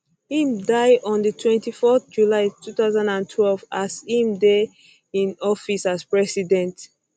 im die on die on 24 july 2012 as im dey in office as president